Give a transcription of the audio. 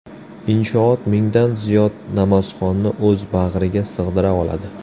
Inshoot mingdan ziyod namozxonni o‘z bag‘riga sig‘dira oladi.